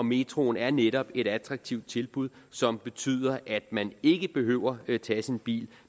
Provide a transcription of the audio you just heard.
metroen er netop et attraktivt tilbud som betyder at man ikke behøver at tage sin bil